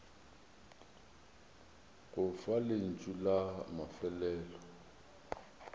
go fa lentšu la mafelelo